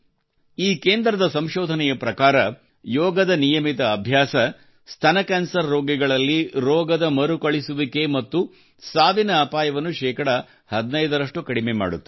ಈ ಕೇಂದ್ರದ ಸಂಶೋಧನೆಯ ಪ್ರಕಾರ ಯೋಗದ ನಿಯಮಿತ ಅಭ್ಯಾಸ ಸ್ತನ ಕ್ಯಾನ್ಸರ್ ರೋಗಿಗಳಲ್ಲಿ ರೋಗದ ಮರುಕಳಿಸುವಿಕೆ ಮತ್ತು ಸಾವಿನ ಅಪಾಯವನ್ನು ಶೇಕಡಾ 15 ರಷ್ಟು ಕಡಿಮೆ ಮಾಡುತ್ತದೆ